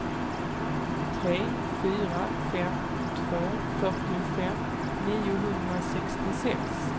tre fyra fem två femtiofem niohundrasextiosex